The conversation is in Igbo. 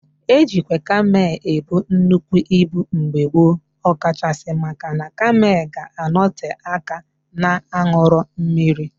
E jikwa kamel ebu nnukwu ibu mgbe gboo, ọ kachasị maka na kamel ga-anọte aka na-aṅụrọ mmiri